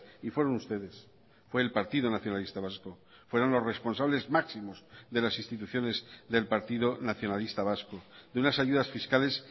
y fueron ustedes fue el partido nacionalista vasco fueron los responsables máximos de las instituciones del partido nacionalista vasco de unas ayudas fiscales